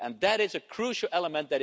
That is a crucial element.